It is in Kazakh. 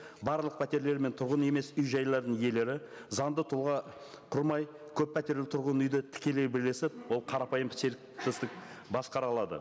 барлық пәтерлер мен тұрғын үй емес үй жайларының иелері заңды тұлға құрмай көппәтерлі тұрғын үйді тікелей бірлесіп ол қарапайым серіктестік басқара алады